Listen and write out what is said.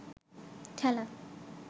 ঠেলা